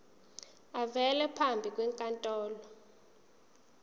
avele phambi kwenkantolo